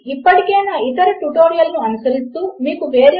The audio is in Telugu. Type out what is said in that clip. ఇప్పుడు నేను అక్కడ నా పాస్ వర్డ్ ను టైప్ చేయడము మరచిపోతే ఏమి జరుగుతుంది